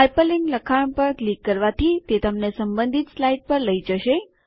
hyperlink લખાણ પર click કરવાથી તે તમને સંબંધિત સ્લાઇડ પર લઈ જશે